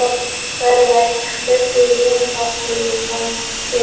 Verða ekki fleiri vináttulandsleikir?